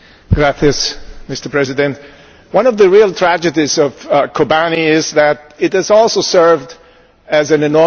Mr President, one of the real tragedies of Kobane is that it has also served as an enormous distraction.